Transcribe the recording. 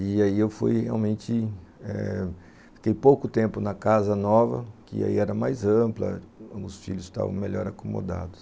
E aí eu fui realmente, eh... fiquei pouco tempo na casa nova, que aí era mais ampla, os filhos estavam melhor acomodados.